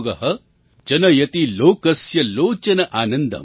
जनयति लोकस्य लोचन आनन्दम